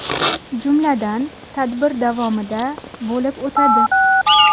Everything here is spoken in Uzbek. Jumladan, tadbir davomida: bo‘lib o‘tadi.